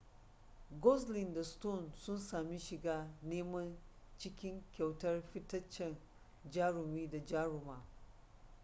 gosling da stone sun sami shiga neman cikin kyautar fitaccen jarumi da jaruma